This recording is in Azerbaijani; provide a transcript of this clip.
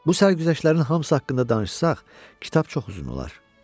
Bu sərgüzəştlərin hamısı haqqında danışsaq, kitab çox uzun olar.